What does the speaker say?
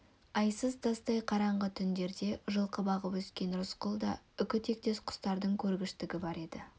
айсыз тастай қараңғы түндерде жылқы бағып өскен рысқұлда үкі тектес құстардың көргіштігі бар еді